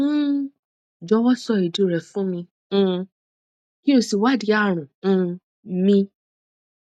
um jọwọ sọ ìdí rẹ fún mi um kí o sì wádìí àrùn um mi